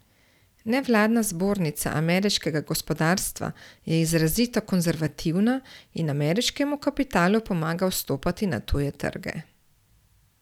Nevladna zbornica ameriškega gospodarstva je izrazito konzervativna in ameriškemu kapitalu pomaga vstopati na tuje trge.